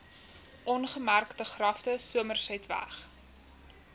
ongemerkte grafte somersetweg